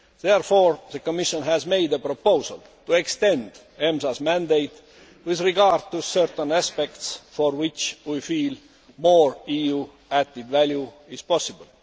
Therefore, the Commission has made a proposal to extend EMSA's mandate with regard to certain aspects for which we feel more EU added value is possible.